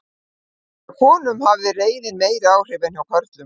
Hjá konum hafði reiðin meiri áhrif en hjá körlum.